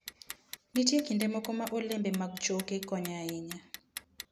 Nitie kinde moko ma olembe mag choke konyo ahinya.